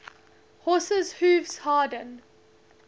horses hooves harden